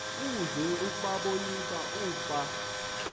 uze ubabonise ukuba